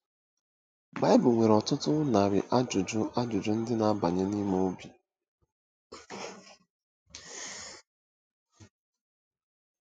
BIBLE nwere ọtụtụ narị ajụjụ ajụjụ ndị na-abanye n’ime obi.